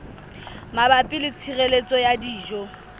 mabapi le tshireletso ya dijo